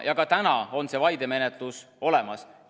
Ja ka täna on see vaidemenetlus olemas.